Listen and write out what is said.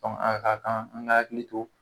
Dɔnku a ka kan an k'an akili to